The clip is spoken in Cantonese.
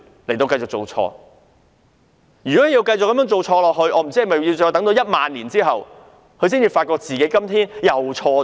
這樣繼續下去，我真的不知道是否要在1萬年後，她才會發現自己今天又做錯了。